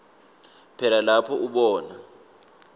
phela lapho ubona